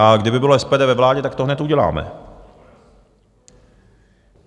A kdyby bylo SPD ve vládě, tak to hned uděláme.